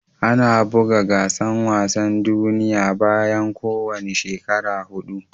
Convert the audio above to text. Ana bugan gasan wasan duniyya bayan ko wani shekara hudu.